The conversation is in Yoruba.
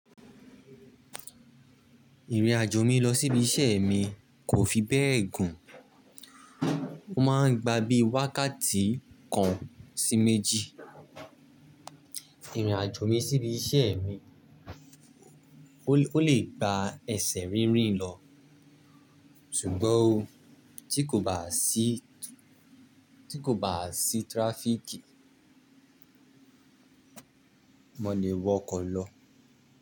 Ìrìnàjò mi lọ sí ibi iṣẹ́ mi kò fi bẹ́ẹ̀ gùn, ó máa ń gba bí wákàtí kan sí méjì. Ìrìnàjò mi sí ibi iṣẹ́ mi, ó lè gba ẹsẹ̀ rínrìn lọ, ṣùgbọ́n o tí kò bá sí, tí kò bá sí tíráfíkì, mo lè wọ ọkọ̀ lọ.